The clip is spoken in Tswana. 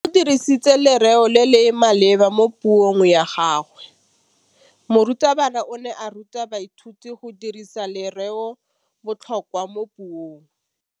O dirisitse lerêo le le maleba mo puông ya gagwe. Morutabana o ne a ruta baithuti go dirisa lêrêôbotlhôkwa mo puong.